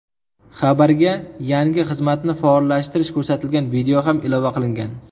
Xabarga yangi xizmatni faollashtirish ko‘rsatilgan video ham ilova qilingan.